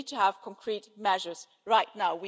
we need to have concrete measures right now.